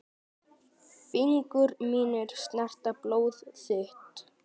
Fingur mínir snerta blóð þitt.